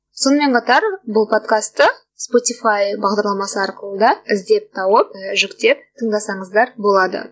сонымен қатар бұл подкасты спотифай бағдарламасы арқылы да іздеп тауып ы жүктеп тыңдасаңыздар болады